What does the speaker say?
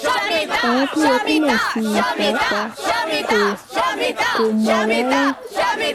àwọn tó yẹ kó mọ̀ sí i pàápàá kò kò mọ̀ rárá